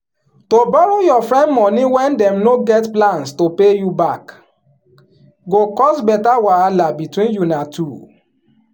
to borrow your friend money wen dem no get plans to pay you back um go cause better wahala between una two.